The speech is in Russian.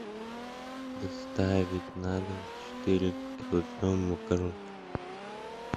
доставить на дом четыре килограмма макарон